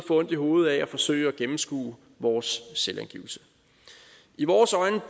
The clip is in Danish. ondt i hovedet af at forsøge at gennemskue vores selvangivelse i vores øjne